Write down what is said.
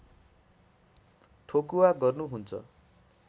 ठोकुवा गर्नुहुन्छ